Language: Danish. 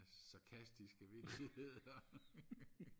sarkastiske vittigheder